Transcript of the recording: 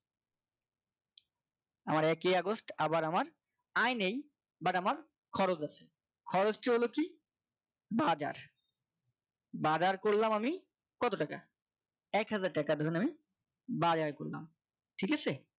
আমার একই আগস্ট আবার আমার আয় নেই but আমার খরচ আছে খরচটিহলো কি বাজার বাজার করলাম আমি কত টাকা এক হাজার টাকা ধরেন আমি বাজার করলাম ঠিক আছে